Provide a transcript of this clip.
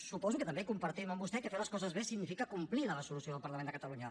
suposo que també compartim amb vostè que fer les coses bé significa complir la resolució del parlament de catalunya